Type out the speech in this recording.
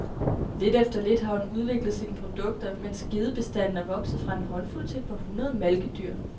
Lidt efter lidt har hun udviklet sine produkter, mens gedebestanden er vokset fra en håndfuld til et par hundrede malkedyr.